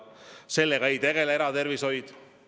Sellega ei tegele eratervishoid.